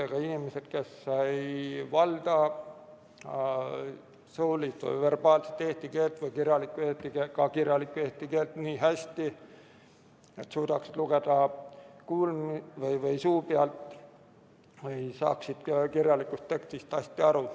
Need on inimesed, kes ei valda suulist või kirjalikku eesti keelt nii hästi, et suudaksid suu pealt lugeda või saaksid kirjalikust tekstist hästi aru.